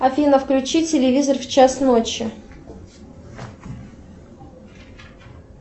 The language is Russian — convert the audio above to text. афина включи телевизор в час ночи